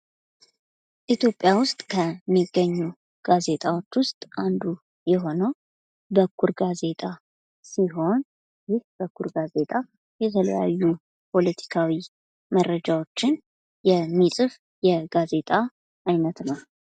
ኢትዮጵያ ውስጥ ከሚገኙት ዜጣዎች ውስጥ አንዱ የሆነው በኩር ጋዜጣ ሲሆን ይህ በኩር ጋዜጣ የተለያዩ ፖለቲካዊ መረጃዎችን የሚጽፍ የጋዜጣ አይነት ነው።